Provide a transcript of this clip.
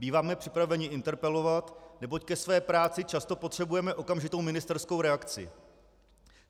Býváme připraveni interpelovat, neboť ke své práci často potřebujeme okamžitou ministerskou reakci.